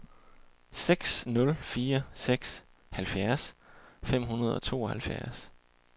seks nul fire seks halvfjerds fem hundrede og tooghalvfjerds